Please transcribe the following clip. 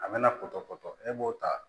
A bɛna pɔtɔpɔtɔ e b'o ta